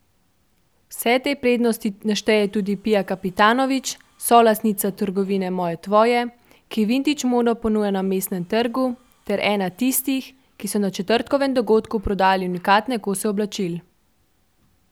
Vse te prednosti našteje tudi Pija Kapitanovič, solastnica trgovine Moje Tvoje, ki vintage modo ponuja na Mestnem trgu, ter ena tistih, ki so na četrtkovem dogodku prodajali unikatne kose oblačil.